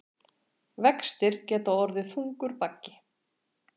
Vextir geta orðið þungur baggi